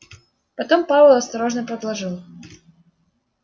потом пауэлл осторожно подложил